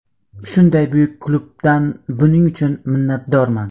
Shunday buyuk klubdan buning uchun minnatdorman.